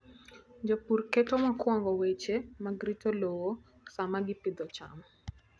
Jopur keto mokwongo weche mag rito lowo sama gipidho cham.